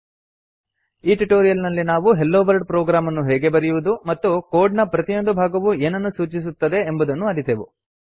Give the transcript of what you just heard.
ಈ ಟ್ಯುಟೋರಿಯಲ್ ನಲ್ಲಿ ನಾವು ಹೆಲೊವರ್ಲ್ಡ್ ಪ್ರೊಗ್ರಾಮ್ ಅನ್ನು ಹೇಗೆ ಬರೆಯುವುದು ಮತ್ತು ಕೋಡ್ ನ ಪ್ರತಿಯೊಂದು ಭಾಗವು ಏನನ್ನು ಸೂಚಿಸುತ್ತದೆ ಎಂಬುದನ್ನು ಅರಿತೆವು